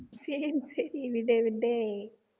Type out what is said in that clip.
சரி சரி விடு விடு